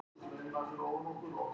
Var boltinn farinn út af?